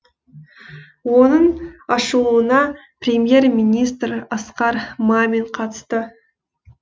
оның ашылуына премьер министр асқар мамин қатысты